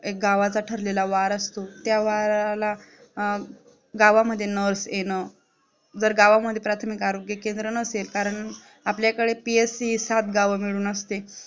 एक गावात ठरलेला असतो, त्या वाराला गावामध्ये nurse येणे, जर गावांमध्ये प्राथमिक आरोग्य केंद्र नसेल कारण आपल्याकडे PSC हि सात गाव मिळून असते